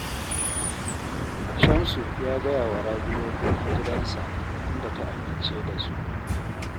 Shamsu ya gaya wa Rabi dokokin gidansa, inda ta amince da su